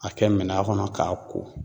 A kɛ minan kɔnɔ k'a ko